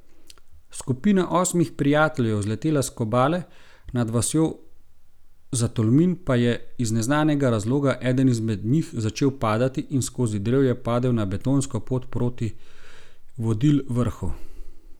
Skupina osmih prijateljev je vzletela s Kobale, nad vasjo Zatolmin pa je iz neznanega razloga eden izmed njih začel padati in skozi drevje padel na betonsko pot proti Vodil vrhu.